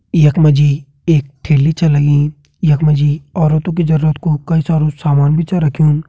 यखमा जी एक ठेली छै लगीं यखमा जी औरतो की जरुरत कु कई सारू सामान भी छै रखयूं।